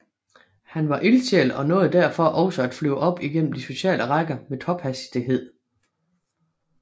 Han var ildsjæl og nåede derfor også at flyve op igennem de sociale rækker med tophastighed